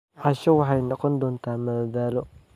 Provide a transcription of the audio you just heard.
Casho waxay noqon doontaa madadaalo.